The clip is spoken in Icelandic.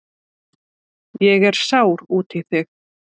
Ég er sár út í þig.